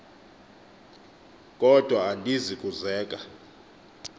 kodwa andizi kuzeka